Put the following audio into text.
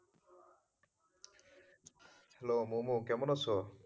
Hello Mumu, কেমন আছো?